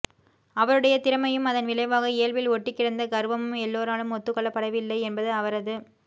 அவருடைய திறமையும் அதன் விளைவாக இயல்பில் ஒட்டிக் கிடந்த கர்வமும் எல்லோராலும் ஒத்துக் கொள்ளப்படவில்லை என்பது அவரது